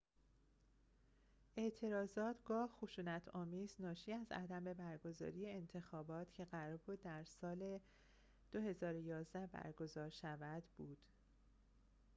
اعتراضات گاه خشونت آمیز ناشی از عدم برگزاری انتخابات که قرار بود در سال ۲۰۱۱ برگزار شود بود